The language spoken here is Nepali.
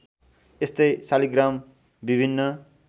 यस्तै शालिग्राम विभिन्न